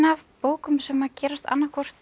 bókum sem gerast annað hvort